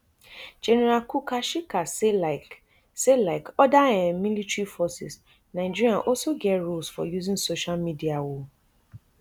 general kukasheka say like say like oda um military forces nigeria also get rules for using social media um